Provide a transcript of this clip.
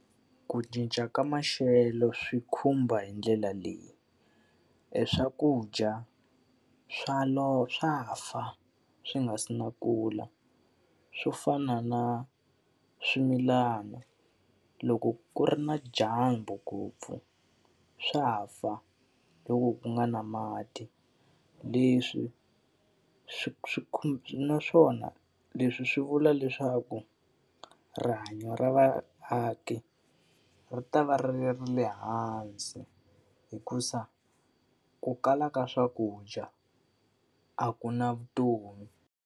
Ku cinca ka maxelo swi khumba hi ndlela leyi, eswakudya swa swa fa swi nga si na kula. Swi fana na swimilana loko ku ri na dyambu ngopfu swa fa, loko ku nga ri na mati. Leswi swi swi swi naswona leswi swi vula leswaku rihanyo ra vaaki ri ta va ri ri ra le hansi hikuva ku kala ka swakudya, a ku na vutomi.